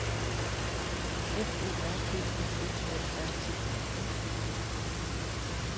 F O R B I F A R T E N